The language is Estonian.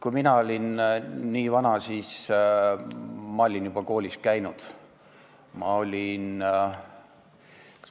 Kui mina olin nii vana, siis ma olin juba koolis käinud.